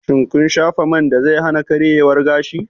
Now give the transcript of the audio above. Shin kin shafa man da zai hana karyewan gashi?